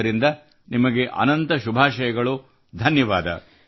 ಆದ್ದರಿಂದ ನಿಮಗೆ ಅನಂತ ಶುಭಾಷಯಗಳು ಧನ್ಯವಾದ